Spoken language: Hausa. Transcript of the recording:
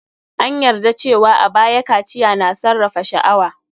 An yarda cewa a baya, kaciya na sarrafa sha'awa.